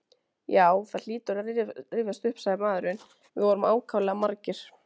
Já, það hlýtur að rifjast upp sagði maðurinn, við vorum ákaflega margir